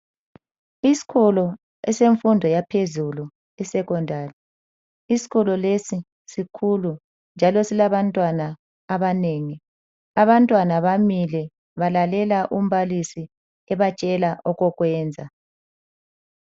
Isikolo esemfundo yaphezulu isekhondari. Isikolo lesi sikhulu njalo silabantwana abanengi. Abantwana bamile balalela umbalisi ebatshela okokwenza.